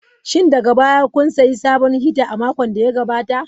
Shin daga baya kun sayi sabon hita a makon da ya gabata?